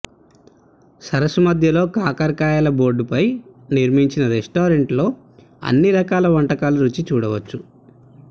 సరస్సు మధ్యలో కాకరకాయల బోడుపై నిర్మించిన రెస్టారెంట్లో అన్ని రకాల వంటకాలు రుచి చూడవచ్చు